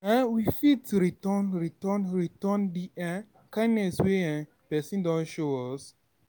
um we fit return Return return Return di um kindness wey um person don show us